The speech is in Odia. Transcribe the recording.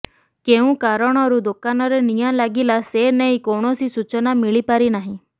କେଉଁ କାରଣରୁ ଦୋକାନରେ ନିଆଁ ଲାଗିଲା ସେ ନେଇ କୌଣସି ସୂଚନା ମିଳିପାରିନାହିଁ